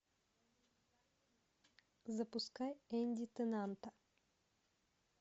запускай энди теннанта